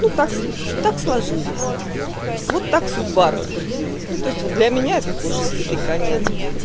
ну так так сложилось вот так судьба распорядилась ну то есть вот для меня это тоже слитый конец